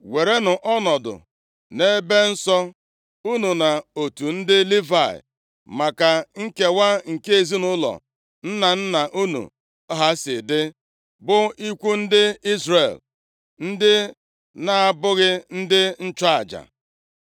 “Werenụ ọnọdụ nʼebe nsọ unu na otu ndị Livayị, maka nkewa nke ezinaụlọ nna nna unu ha si dị, bụ ikwu ndị Izrel, ndị na-abụghị ndị nchụaja.